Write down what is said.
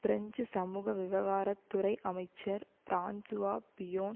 French சமூக விவகாரத்துறை அமைச்சர் பிரான்சுவா பிய்யோன்